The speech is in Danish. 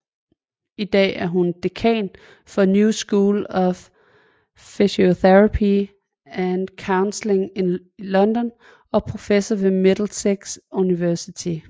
I dag er hun dekan for New School of Psychotherapy and Counselling i London og professor ved Middlesex University